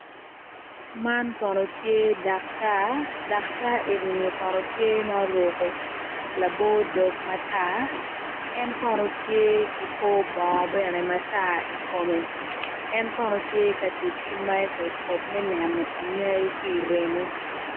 Man kono tye daktar, daktar eni ni kono tye ma oruko labo dog matar en kono tye ki kor bongo bene matar ikome en kono tye ka tic ki microscope me neno anyai ki remo